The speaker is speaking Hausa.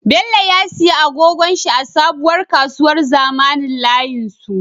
Bello ya siya agogon shi a sabuwar kasuwar zamanin layin su